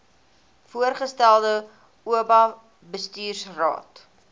voorgestelde oba bestuursraad